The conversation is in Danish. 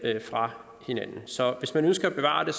fra hinanden så hvis man nu skal bevare det